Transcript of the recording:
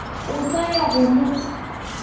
o sa ya go mo